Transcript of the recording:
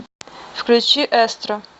включи эстро